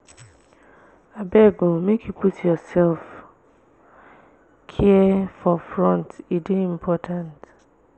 abeg o make you put sef-care for front e dey important.